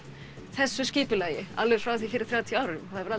þessu skipulagi frá því fyrir þrjátíu árum það hefur